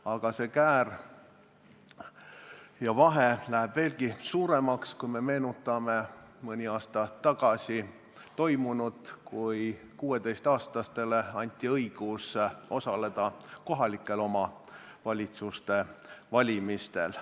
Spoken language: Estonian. Aga need käärid lähevad veelgi suuremaks, kui me meenutame mõne aasta tagust otsust anda alates 16. eluaastast õigus osaleda kohaliku omavalitsuse valimistel.